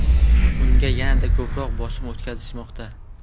Unga yanada ko‘proq bosim o‘tkazishmoqda.